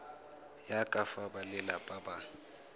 ya ka fa balelapa ba